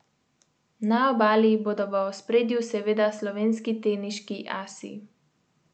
Na obali bodo v ospredju seveda slovenski teniški asi.